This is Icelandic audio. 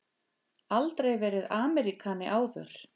Aldrei verið Ameríkani áður.